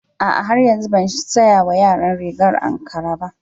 A'a har yanzu ban saya wa yaran rigar ankara ba.